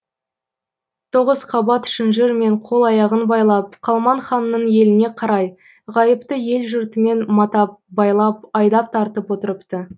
тоғыз қабат шынжырмен қол аяғын байлап қалман ханның еліне қарай ғайыпты ел жұртымен матап байлап айдап тартып отырыпты